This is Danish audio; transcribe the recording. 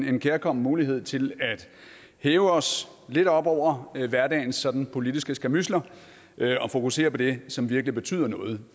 en kærkommen mulighed til at hæve os lidt op over hverdagens sådan politiske skærmydsler og fokusere på det som virkelig betyder noget